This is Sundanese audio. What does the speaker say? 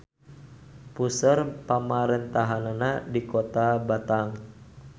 Puseur pamarentahannana di Kota Batang.